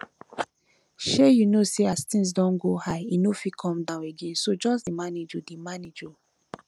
shey you know say as things don go high e no fit come down again so just dey manage oo dey manage oo